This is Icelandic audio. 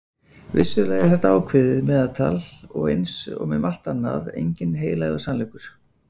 Vissulega er þetta ákveðið meðaltal og eins og með margt annað enginn heilagur sannleikur.